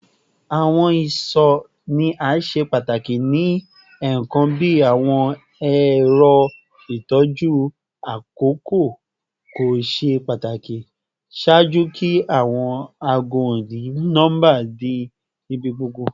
Awọn iṣọ ni a ṣe pataki ni ẹẹkan bi awọn ẹrọ itọju akoko ko ṣe pataki ṣaaju ki awọn aago oni-nọmba di ibigbogbo